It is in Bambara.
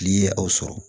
N'i ye aw sɔrɔ